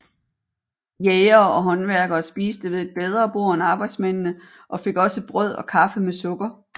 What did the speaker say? Jægere og håndværkere spiste ved et bedre bord end arbejdsmændene og fik også brød og kaffe med sukker